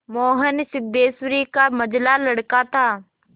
मोहन सिद्धेश्वरी का मंझला लड़का था